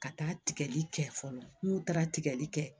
Ka taa tigɛli kɛ fɔlɔ n'u taara tigɛli kɛ